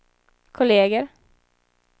kolleger